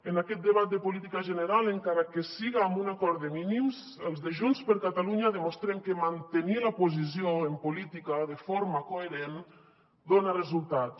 en aquest debat de política general encara que siga amb un acord de mínims els de junts per catalunya demostrem que mantenir la posició en política de forma coherent dona resultats